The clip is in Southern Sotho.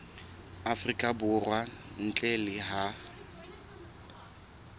afrika borwa ntle le ha